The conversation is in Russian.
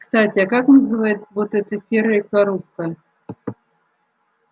кстати а как называется вот эта серая коробка